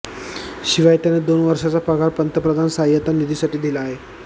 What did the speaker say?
शिवाय त्यानं दोन वर्षांचा पगार पंतप्रधान सहाय्यता निधीसाठी दिला आहे